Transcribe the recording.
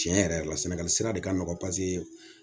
Tiɲɛ yɛrɛ yɛrɛ la sɛnɛgali sira de ka nɔgɔn paseke